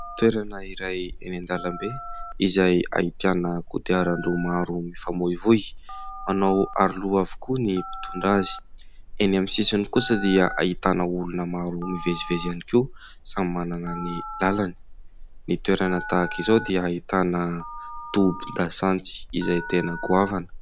Toerana iray eny an-dalambe, izay ahitana kodiaran-droa maro mifamoivoy, manao aroloha avokoa ny mpitondra azy. Eny amin'ny sisiny kosa dia ahitana olona maro mivezivezy ihany koa, samy manana ny lalany. Ny toerana tahaka izao dia ahitana tobin-dasantsy izay tena goavana.